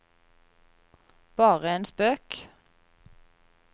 bare en spøk